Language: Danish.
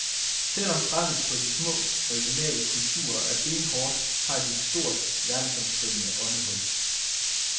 Selvom presset på de små, originale kulturer er benhårdt, har de et stort, verdensomspændende åndehul.